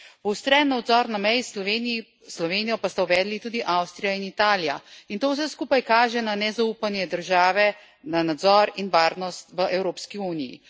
Poostren nadzor na meji s Slovenijo pa sta uvedli tudi Avstrija in Italija in to vse skupaj kaže na nezaupanje držav na nadzor in varnost v Evropski uniji.